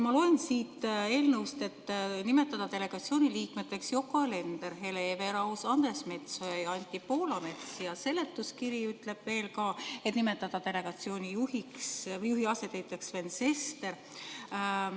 Ma loen siit eelnõust, et nimetada delegatsiooni liikmeteks Yoko Alender, Hele Everaus, Andres Metsoja ja Anti Poolamets, ja seletuskiri ütleb veel, et nimetada delegatsiooni juhi asetäitjaks Sven Sester.